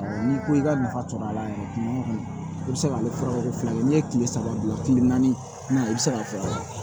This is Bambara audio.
N'i ko i ka nafa sɔrɔ a la yɛrɛ kuma o kuma i bi se k'ale fɔ ko fila ye n'i ye kile saba dilan kile naani i bɛ se k'a fɔ